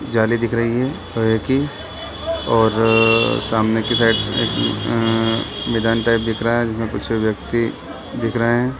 जाली दिख रही है और है की और सामने की साइड उम्म उम् मैदान टाइप दिख रहा है उसमे कुछ व्यक्ती दिख रहे है।